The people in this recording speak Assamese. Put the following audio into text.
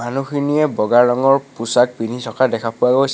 মানুহখিনিয়ে বগা ৰঙৰ পোছাক পিন্ধি থকা দেখা পোৱা গৈছে।